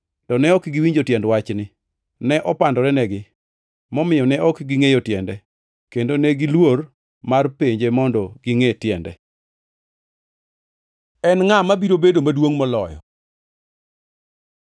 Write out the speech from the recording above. To ne ok giwinjo tiend wachni. Ne opandorenegi, momiyo ne ok gingʼeyo tiende, kendo negiluor mar penje mondo gingʼe tiende. En ngʼa mabiro bedo maduongʼ moloyo